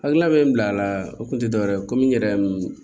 Hakilina bɛ n bila a la o kun tɛ dɔwɛrɛ ye komi n yɛrɛ